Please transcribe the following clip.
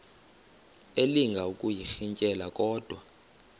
elinga ukuyirintyela kodwa